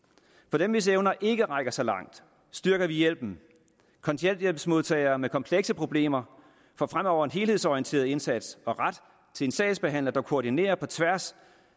for dem hvis evner ikke rækker så langt styrker vi hjælpen kontanthjælpsmodtagere med komplekse problemer får fremover en helhedsorienteret indsats og ret til en sagsbehandler der koordinerer på tværs